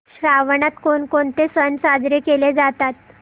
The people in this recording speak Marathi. श्रावणात कोणकोणते सण साजरे केले जातात